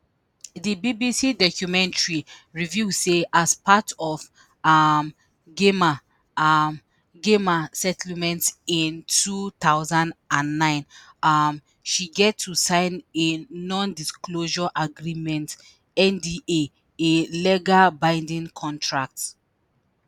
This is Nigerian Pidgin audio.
di BBC documentary reveal say as part of um gemma um gemma settlement in two thousand and nine um she get to sign a non-disclosure agreement nda a legal binding contract